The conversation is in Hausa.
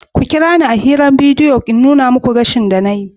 Ku kira ni a hirar bidiyo bari in nuna muku gashin da na yi.